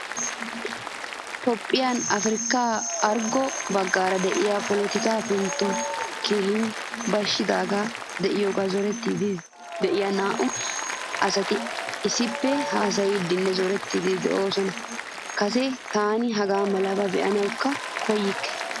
Toophphiyaanne Africa Arggo baggaara de'iya polotikka penttoy keehin byaashidi deiyoga zorettidi deiyaa naa'u asati issippe haasayidinne zorettidi deosona. Kase taani hagaamalaba beanawu koyikke.